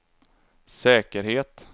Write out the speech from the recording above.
säkerhet